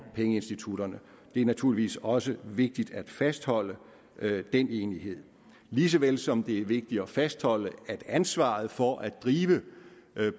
pengeinstitutterne det er naturligvis også vigtigt at fastholde den enighed lige så vel som det er vigtigt at fastholde at ansvaret for at drive